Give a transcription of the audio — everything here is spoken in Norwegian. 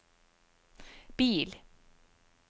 bil